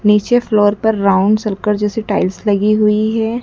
नीचे फ्लोर पर round circle जैसी टाइल्स लगी हुई है।